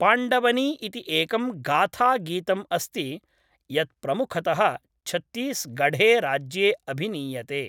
पाण्डवनी इति एकं गाथागीतम् अस्ति यत् प्रमुखतः छत्तीसगढ़ेराज्ये अभिनीयते।